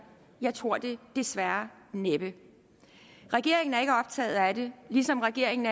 jeg tror det desværre næppe regeringen er ikke optaget af det ligesom regeringen